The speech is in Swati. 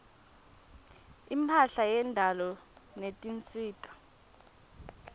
imphahla yendalo netinsita